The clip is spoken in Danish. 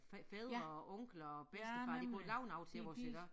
Fædre og onkler og bedstefar de kunne lave noget til os iggå